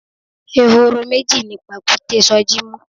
Ehoro meji ni pàkúté Soji mú.